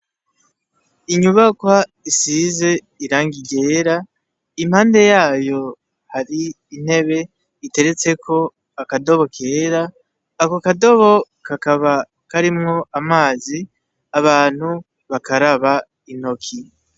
Inyubakwa isize irangi ryera impande yayo hari intebe iteretseko akadobo kera ako kadobo kakaba karimwo amazi abantu bakaraba intoki.